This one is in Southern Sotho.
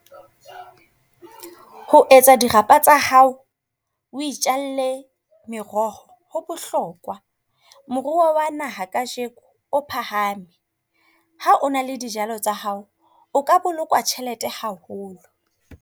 Ho etsa dirapa tsa hao. O itjalle meroho, ho bohlokwa moruo wa naha kajeko or phahame. Ha o na le dijalo tsa hao, o ka boloka tjhelete haholo.